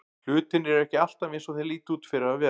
Hlutirnir eru ekki alltaf eins og þeir líta út fyrir að vera.